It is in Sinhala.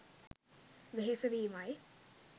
වෙහෙස වීම යි.